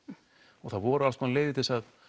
og það voru alls konar leiðir til að